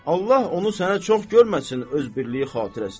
Allah onu sənə çox görməsin öz birliyi xatirəsinə.